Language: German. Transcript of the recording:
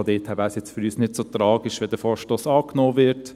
Daher wäre es für uns nicht so tragisch, wenn der Vorstoss angenommen würde.